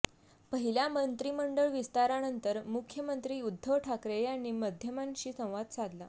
पहिल्या मंत्रिमंडळ विस्तारानंतर मुख्यमंत्री उद्धव ठाकरे यांनी माध्यमांशी संवाद साधला